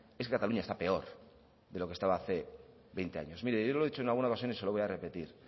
es que cataluña está peor de lo que estaba hace veinte años mire yo lo he dicho en alguna ocasión y se lo voy a repetir